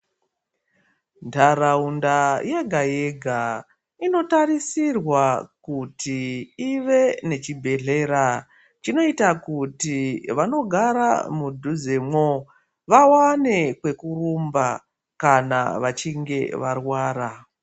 Ntaraunda yega-yega inotarisirwa kuti ive nechibhedhlera chinoita kuti vanogara mudhuzemwo vawane kwekurumba kana vachinge varwara.